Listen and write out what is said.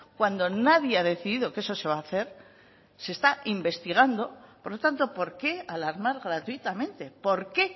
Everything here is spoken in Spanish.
cuando nadie ha decidido que eso se va a hacer se está investigando por lo tanto por qué alarmar gratuitamente por qué